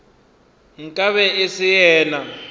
nka be e se yena